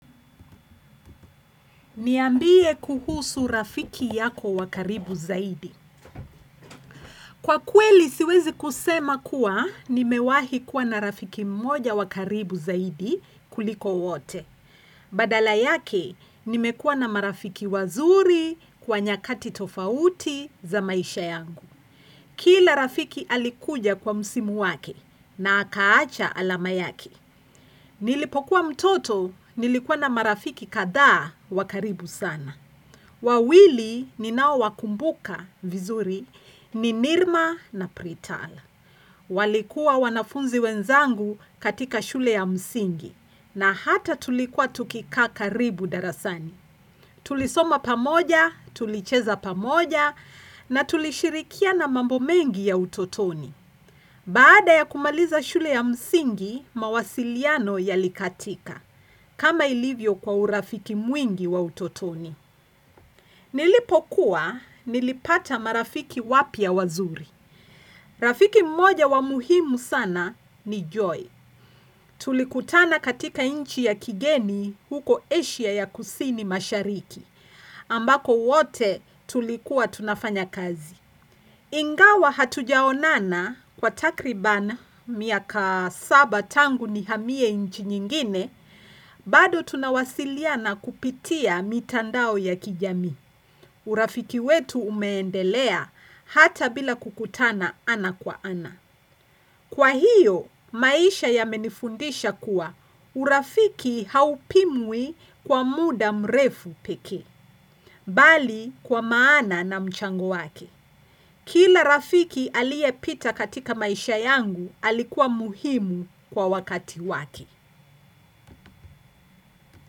Niambie kuhusu rafiki yako wa karibu zaidi. Kwa kweli siwezi kusema kuwa nimewahi kuwa na rafiki mmoja wa karibu zaidi kuliko wote. Badala yake nimekuwa na marafiki wazuri kwa nyakati tofauti za maisha yangu. Kila rafiki alikuja kwa musimu wake na akaacha alama yake. Nilipokuwa mtoto nilikuwa na marafiki kadhaa wa karibu sana. Wawili ninao wakumbuka vizuri ni Nirma na Pritala. Walikuwa wanafunzi wenzangu katika shule ya msingi na hata tulikuwa tukikaa karibu darasani. Tulisoma pamoja, tulicheza pamoja na tulishirikiana mambo mengi ya utotoni. Baada ya kumaliza shule ya msingi, mawasiliano yalikatika. Kama ilivyo kwa urafiki mwingi wa utotoni. Nilipokua nilipata marafiki wapya wazuri. Rafiki mmoja wa muhimu sana ni Joy. Tulikutana katika nchi ya kigeni huko Asia ya kusini mashariki. Ambako wote tulikuwa tunafanya kazi. Ingawa hatujaonana kwa takriban miaka saba tangu nihamie nchi nyingine, bado tunawasiliana kupitia mitandao ya kijamii. Urafiki wetu umeendelea hata bila kukutana ana kwa ana. Kwa hiyo, maisha yamenifundisha kuwa urafiki haupimwi kwa muda mrefu pekee, bali kwa maana na mchango wake. Kila rafiki aliyepita katika maisha yangu alikuwa muhimu kwa wakati wake.